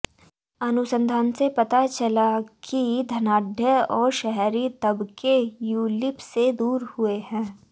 अनुसंधान से पता चला है कि धनाढ्य और शहरी तबके यूलिप से दूर हुए हैं